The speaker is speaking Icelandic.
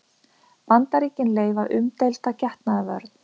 Bandaríkin leyfa umdeilda getnaðarvörn